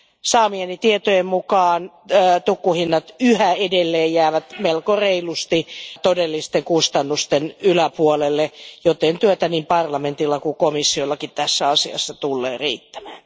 Saamieni tietojen mukaan tukkuhinnat jäävät yhä edelleen melko reilusti todellisten kustannusten yläpuolelle, joten työtä niin parlamentilla kuin komissiollakin tässä asiassa tulee riittämään.